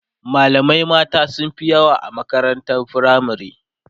malamai mata sunfi yawa a makarantar firamare